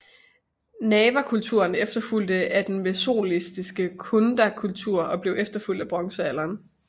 Narvakulturen efterfulgte af den mesolitiske Kundakultur og blev efterfulgt af bronzealderen